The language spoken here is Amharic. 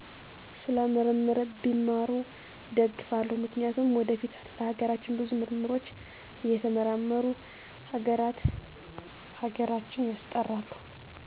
ስለ ምርምር ቢማሩ እደግፋለው ምክንያቱም ወደፊት ለሀገራችን ብዙ ምርምሮች እየተመራመሩ ሀገራተ ሀገራችን ያስጠራሉ